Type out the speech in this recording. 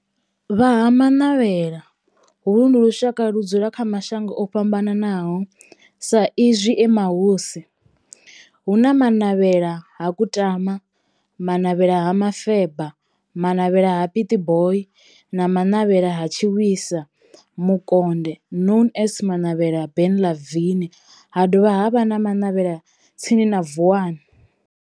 Vha ha Manavhela, holu ndi lushaka ludzula kha mashango ofhambanaho sa izwi e mahosi, hu na Manavhela ha Kutama, Manavhela ha Mufeba, Manavhela ha Pietboi na Manavhela ha Tshiwisa Mukonde known as Manavhela Benlavin, ha dovha havha na Manavhela tsini na Vuwani.